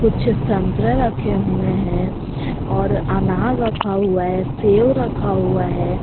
पीछे संतरा रखे हुए हैं और अनार रखा हुआ है सेब रखा हुआ है।